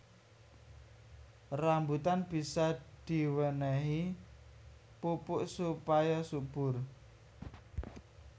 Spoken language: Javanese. Rambutan bisa diwénéhi pupuk supaya subur